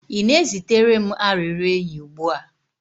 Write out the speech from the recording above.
Ị na-ezitere m arịrịọ enyi ugbu a?